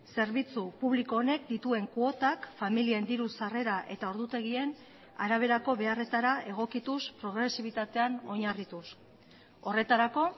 zerbitzu publiko honek dituen kuotak familien diru sarrera eta ordutegien araberako beharretara egokituz progresibitatean oinarrituz horretarako